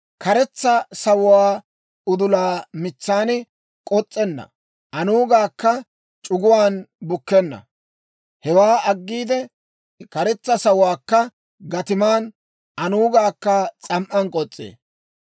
Karetsa sawuwaa udula mitsan k'os's'enna; aanugaakka c'uguwaan bukkenna. Hewaa aggiide, karetsa sawuwaakka gatiman, anuugaakka s'am"an k'os's'ee.